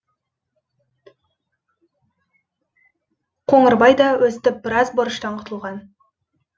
қоңырбай да өстіп біраз борыштан құтылған